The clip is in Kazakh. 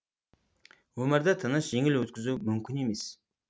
өмірді тыныш жеңіл өткізу мүмкін емес